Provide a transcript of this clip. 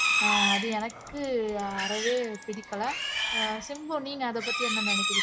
அஹ் அது எனக்கு அறவே பிடிக்கல அஹ் சிம்பு நீங்க அதைப்பத்தி என்ன நினைக்கிறீங்க